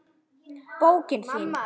Bókin þín,